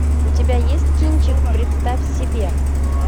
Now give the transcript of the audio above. у тебя есть кинчик представь себе